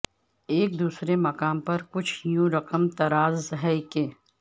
ایک دوسرے مقام پر کچھ یوں رقمطراز ہیں کہ